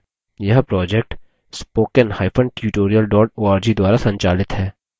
यह project